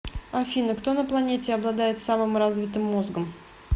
афина кто на планете обладает самым развитым мозгом